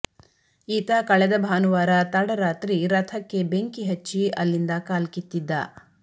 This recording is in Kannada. ಈತ ಕಳೆದ ಭಾನುವಾರ ತಡರಾತ್ರಿ ರಥಕ್ಕೆ ಬೆಂಕಿ ಹಚ್ಚಿ ಅಲ್ಲಿಂದ ಕಾಲ್ಕಿತ್ತಿದ್ದ